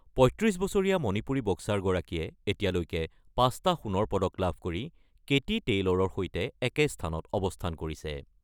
৩৫ বছৰীয়া মণিপুৰী বক্সাৰগৰাকীয়ে এতিয়ালৈকে ৫ টা সোণৰ পদক লাভ কৰি কেতি টেইলৰৰ সৈতে একে স্থানত অৱস্থান কৰিছে।